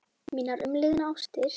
Mínar umliðnu ástir.